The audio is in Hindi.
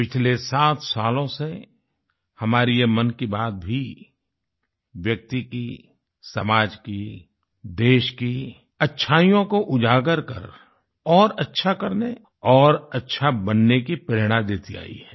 पिछले सात सालों से हमारी ये मन की बात भी व्यक्ति की समाज की देश की अच्छाइयों को उजागर कर और अच्छा करने और अच्छा बनने की प्रेरणा देती आयी है